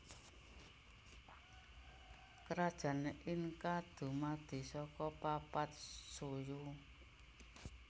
Krajan Inka dumadi saka papat suyu